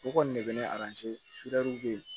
O kɔni de bɛ ne bɛ yen